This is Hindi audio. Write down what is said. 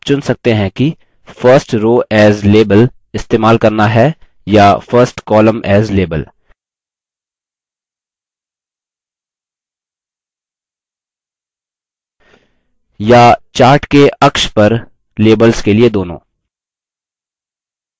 अंततः आप चुन सकते हैं कि first row as label इस्तेमाल करना है या first column as label